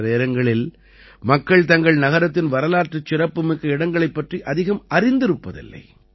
பல நேரங்களில் மக்கள் தங்கள் நகரத்தின் வரலாற்றுச் சிறப்புமிக்க இடங்களைப் பற்றி அதிகம் அறிந்திருப்பதில்லை